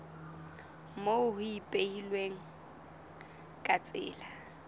moo ho ipehilweng ka tsela